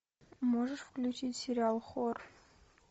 можешь включить сериал хор